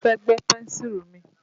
Mo fẹ́ gbẹ́ pẹ́ńsùrù mi.